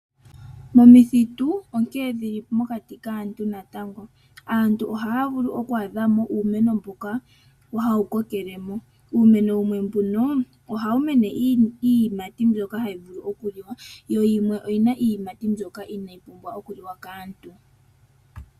Omithitu onkee dhili mokati kaantu natango. Aantu ohaya vulu oku adhamo uumeno mboka hawu kokele mo. Uumeno wumwe mbuno, ohawu mene iiyimati mboka hayi vulu okuliwa, wo wumwe owuna iiyimati mbyoka inaayi pumbwa okuliwa kaantu.